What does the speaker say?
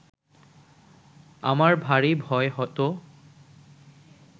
আমার ভারি ভয় হতো